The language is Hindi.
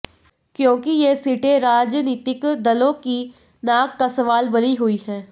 क्योंकि ये सीटें राजनीितक दलों की नाक का सवाल बनी हुई हैं